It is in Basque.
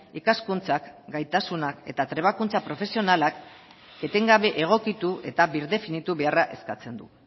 ikaskuntzak gaitasunak eta trebakuntza profesionalak etengabe egokitu eta birdefinitu beharra eskatzen du